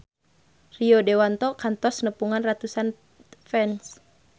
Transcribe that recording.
Rio Dewanto kantos nepungan ratusan fans